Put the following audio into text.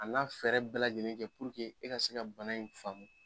A n'a fɛɛrɛ bɛɛ lajɛlen kɛ e ka se ka bana in faamu.